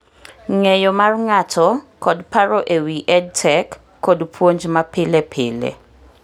ng'eyo mar ng'ato kod paro e wi EdTech kod puonj mapilepile